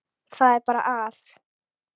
Það er bara að.